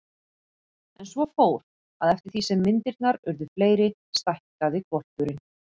En svo fór, að eftir því sem myndirnar urðu fleiri stækkaði hvolpurinn.